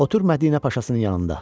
Otur Mədinə Paşasının yanında.